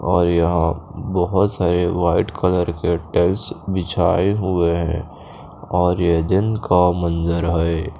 और यहाँ बोहोत सारे वाइट कलर की टेल्स बिछाए हुए है और ये दिन का मंज़र है।